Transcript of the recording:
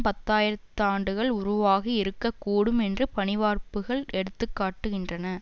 பத்து ஆயிரம் ஆண்டுகளில் உருவாகி இருக்க கூடும் என்று பனிவார்ப்புகள் எடுத்து காட்டுகின்றன